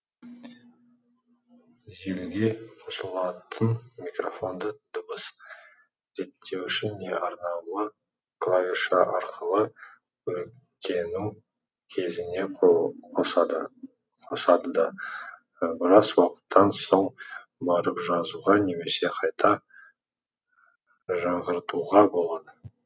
желіге қосылатын микрофонды дыбыс реттеуші не арнаулы клавиш арқылы қоректену кезіне қосады қосады да біраз уақыттан соң барып жазуға немесе қайта жаңғыртуға болады